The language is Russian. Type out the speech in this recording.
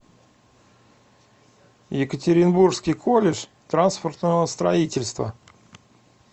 екатеринбургский колледж транспортного строительства